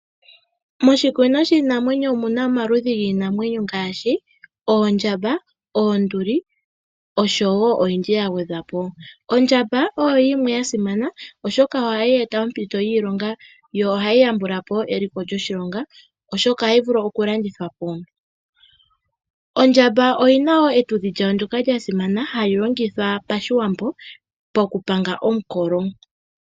Moshikunino shiinamwenyo omuna omaludhi giinamwenyo ngaashi ondjamba, oonduli osho wo oyindji ya gwedha po. Ondjamba oyo yimwe ya simana oshoka ohai eta oompito dhiilonga yo ohai yambula po eliko lyoshilongo uuna ya landithwa po. Ondjamba oyina etudhi lyayo ndyoka lya simana, hali longitha pashiwambo okupanga omukolo.